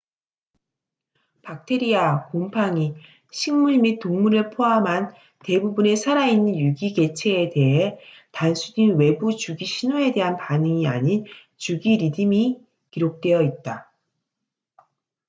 박테리아 곰팡이 식물 및 동물을 포함한 대부분의 살아있는 유기개체에 대해 단순히 외부 주기 신호에 대한 반응이 아닌 주기 리듬이 기록되어 있다